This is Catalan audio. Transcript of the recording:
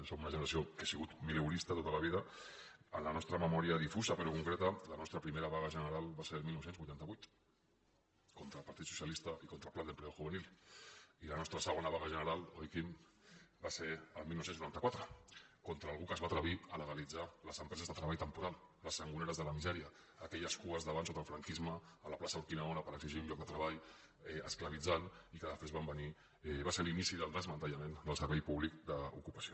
som d’una generació que ha sigut mileurista tota la vida en la nostra memòria difusa però concreta la nostra primera vaga general va ser el dinou vuitanta vuit contra el partit socialista i contra el plan de empleo juvenil i la nostra segona vaga general oi quim va ser el dinou noranta quatre contra algú que es va atrevir a legalitzar les empreses de treball temporal les sangoneres de la misèria aquelles cues d’abans sota el franquisme a la plaça urquinaona per exigir un lloc de treball esclavitzant i que després van venir i va ser l’inici del desmantellament del servei públic d’ocupació